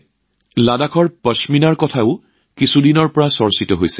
লাডাখী পশ্মিনাৰ বিষয়েও কিছুদিনৰ পৰা বহু চৰ্চিত হৈ আছে